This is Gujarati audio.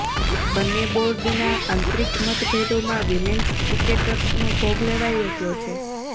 બંને બોર્ડના આંતરિક મતભેદોમાં વિમેન્સ ક્રિકેટર્સનો ભોગ લેવાઇ રહ્યો છે